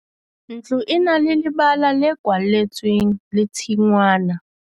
Ntlo e na le lebala le kwalletsweng le tshingwana.